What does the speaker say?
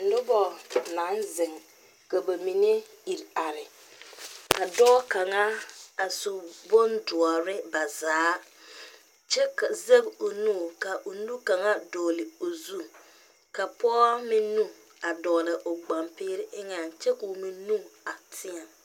Noba naŋ zeŋ ka ba mine iri are, ka dɔɔ kaŋa a su bon doɔre ba zaa kyɛ Zage o nu, ka o nu kaŋa. dɔgeli o zu ka pɔge meŋ nu a dɔgeli o gbanpɛɛre eŋɛ kyɛ kɔɔ meŋ nu a teɛ